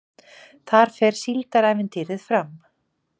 Þar fer Síldarævintýrið fram